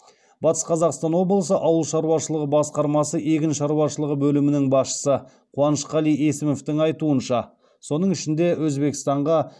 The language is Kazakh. батыс қазақстан облысы ауыл шаруашылығы басқармасы егін шаруашылығы бөлімінің басшысы қуанышқали есімовтің айтуынша соның ішінде өзбекстанға